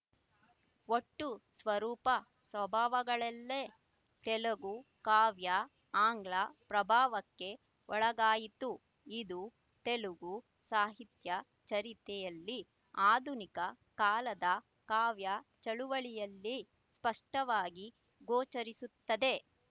ಒಟ್ಟು ಸ್ವರೂಪ ಸ್ವಭಾವಗಳಲ್ಲೇ ತೆಲುಗು ಕಾವ್ಯ ಆಂಗ್ಲ ಪ್ರಭಾವಕ್ಕೆ ಒಳಗಾಯಿತು ಇದು ತೆಲುಗು ಸಾಹಿತ್ಯ ಚರಿತೆಯಲ್ಲಿ ಆಧುನಿಕ ಕಾಲದ ಕಾವ್ಯ ಚಳುವಳಿಯಲ್ಲಿ ಸ್ಪಷ್ಟವಾಗಿ ಗೋಚರಿಸುತ್ತದೆ